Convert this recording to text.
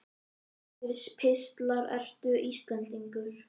Aðsendir pistlar Ertu Íslendingur?